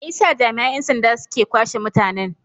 Me yasa jami'an 'yan sanda suke kwashe mutanen?